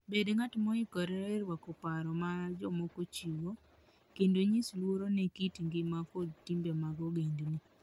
Bed ng'at moikore rwako paro ma jomoko chiwo, kendo nyis luor ne kit ngima kod timbe mag ogendni.